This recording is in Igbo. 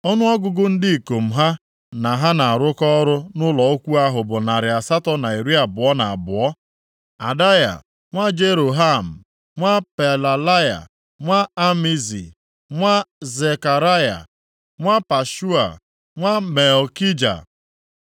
Ọnụọgụgụ ndị ikom ha na ha na-arụkọ ọrụ nʼụlọ ukwu ahụ bụ narị asatọ na iri abụọ na abụọ (822). Adaya, nwa Jeroham, nwa Pelalaya, nwa Amzi, nwa Zekaraya, nwa Pashua nwa Malkija,